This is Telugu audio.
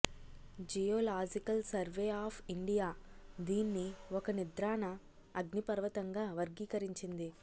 జియోలాజికల్ సర్వే ఆఫ్ ఇండియా దీన్ని ఒక నిద్రాణ అగ్నిపర్వతంగా వర్గీకరించింది